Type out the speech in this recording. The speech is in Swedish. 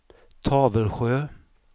Tavelsjö